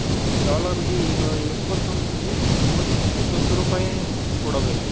dollars ಗೆ ಈಗ ಇಪ್ಪತ್ತೊಂದು ಎಂಬತ್ತೊಂದು ರೂಪಾಯ್ ಕೊಡ್ ಬೇಕು.